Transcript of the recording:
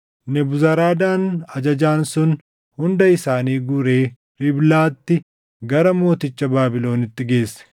Nebuzaradaan ajajaan sun hunda isaanii guuree Riiblaatti gara mooticha Baabilonitti geesse.